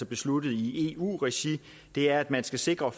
besluttet i eu regi er at man skal sikre